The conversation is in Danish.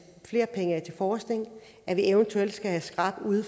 flere penge af til forskning at vi eventuelt skal have srab ud